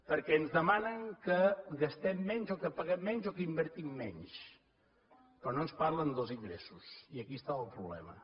perquè ens demanen que gastem menys o que paguem menys o que invertim menys però no ens parlen dels ingressos i aquí està el problema